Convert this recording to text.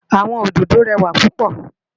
Awòn ódõdó rèwá púpò